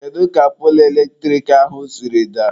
Kedu ka poolu eletrik ahụ siri daa?.